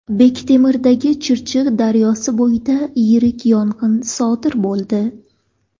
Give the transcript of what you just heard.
Bektemirdagi Chirchiq daryosi bo‘yida yirik yong‘in sodir bo‘ldi .